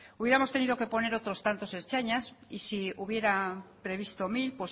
hubiéramos tenido que poner otros tantos ertzainas y si hubiera previsto mil